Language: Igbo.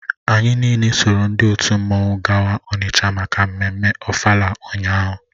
Anyị niile soro ndị otu mmanwụ gawa Onitsha maka mmemme ofala ụnyahụ